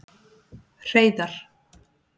Hreiðar